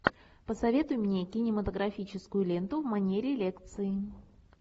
посоветуй мне кинематографическую ленту в манере лекции